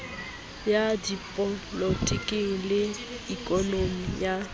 ya dipolotiki le ikonomi ya